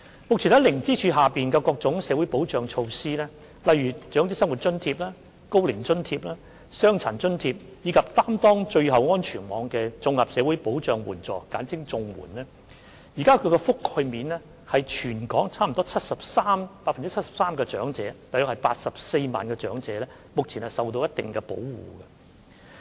目前，在零支柱下有各種社會保障措施，包括長者生活津貼、高齡津貼、傷殘津貼，以及擔當最後安全網的綜合社會保障援助，現時的覆蓋面已達全港約 73% 的長者，即有約84萬名長者目前受到一定保障。